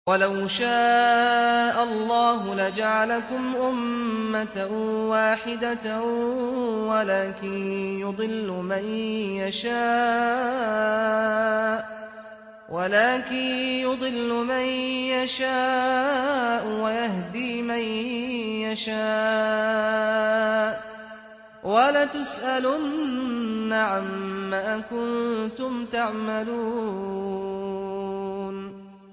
وَلَوْ شَاءَ اللَّهُ لَجَعَلَكُمْ أُمَّةً وَاحِدَةً وَلَٰكِن يُضِلُّ مَن يَشَاءُ وَيَهْدِي مَن يَشَاءُ ۚ وَلَتُسْأَلُنَّ عَمَّا كُنتُمْ تَعْمَلُونَ